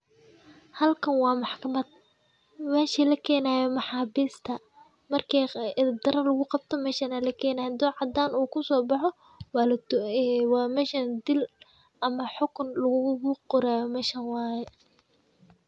Halkan waa maxkamad. Meesha la keenayo maxaabiista markii idib daraa lagu qabto meesha la keenay haduu cadaan uu kusoo baxo, waana meeshan dil ama xukun lagu qoraayo meesha waaye.